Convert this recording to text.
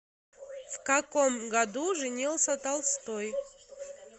в каком году женился толстой